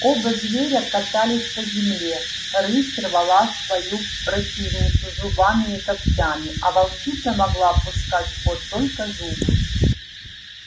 оба зверя катались по земле рысь рвала свою противницу зубами и когтями а волчица могла пускать в ход только зубы